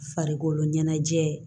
Farikolo ɲɛnajɛ